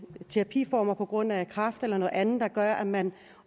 terapiformer på grund af kræft eller noget andet der gør at man